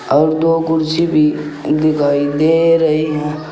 और दो कुर्सी भी दिखाई दे रही हैं।